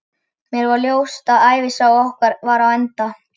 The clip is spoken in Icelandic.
Mér var ljóst, að ævisaga okkar var á enda.